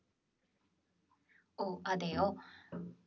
ഓ അതെയോ